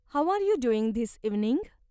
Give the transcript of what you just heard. How are you doing this evening?